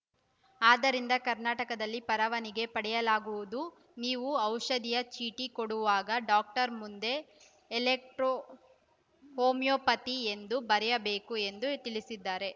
ಆದ್ದರಿಂದ ಕರ್ನಾಟಕದಲ್ಲಿ ಪರವಾನಿಗೆ ಪಡೆಯಲಾಗುವುದು ನೀವು ಔಷಧಿಯ ಚೀಟಿ ಕೊಡುವಾಗ ಡಾಕ್ಟರ್‌ ಮುಂದೆ ಎಲೆಕ್ಟ್ರೋ ಹೋಮಿಯೋಪತಿ ಎಂದು ಬರೆಯಬೇಕು ಎಂದು ತಿಳಿಸಿದರೆ